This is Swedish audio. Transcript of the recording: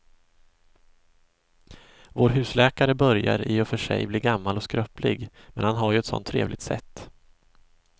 Vår husläkare börjar i och för sig bli gammal och skröplig, men han har ju ett sådant trevligt sätt!